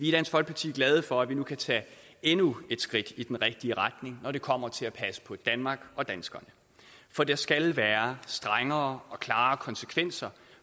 i dansk folkeparti glade for at vi nu kan tage endnu et skridt i den rigtige retning når det kommer til at passe på danmark og danskerne for der skal være strengere og klarere konsekvenser